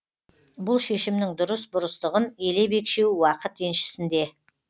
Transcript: бұл шешімнің дұрыс бұрыстығын елеп екшеу уақыт еншісінде